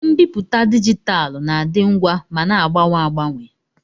Mbipụta dijitalụ na-adị ngwa ma na-agbanwe agbanwe.